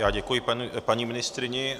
Já děkuji paní ministryni.